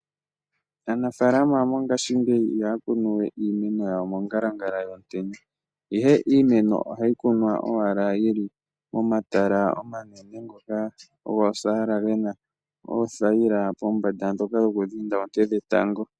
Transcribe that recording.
Aanafaalama yomongashiingeyi ihaya kunu we iimeno yawo mo ngalangala yomutenya , ihe iimeno ohayi kunwa owala yili momatala omanene ngoka goosaala gena oothayila pombanda dhoka dhoku dhinda oonte dhetango .